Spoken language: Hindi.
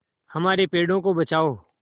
हमारे पेड़ों को बचाओ